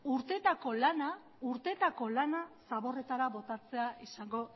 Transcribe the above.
urteetako lana zaborretara botatzea izango